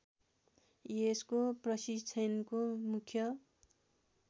यसको प्रशिक्षणको मुख्य